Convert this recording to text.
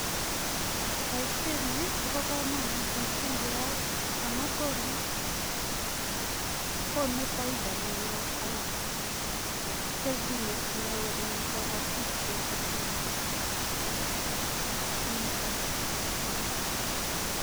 Boisiet ni kobo kamanut mising keyai amun konu faida neo anan kelchinet neo eng kabatiik che ibati kiito.